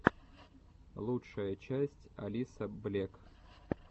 лучшая часть алисаблек